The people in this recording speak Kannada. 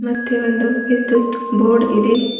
ಮತ್ತೆ ಒಂದು ವಿದ್ಯುತ್ ಬೋರ್ಡ್ ಇದೆ.